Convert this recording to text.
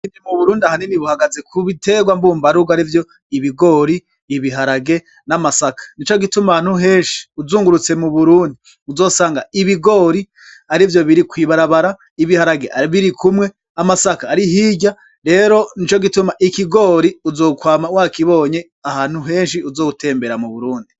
Uburimyi mu burundi ahanini buhagaze kubiterwa mbumbarugo arivyo ibigori, ibiharage n'amasaka nico gituma ahantu henshi uzungurutse mu burundi uzosanga ibigori arivyo biri kwibarabara, ibiharage biri kumwe, amasaka ari hirya rero nico gituma ikigori uzokwama wa kibonye ahantu henshi uzo tembera mu burundi.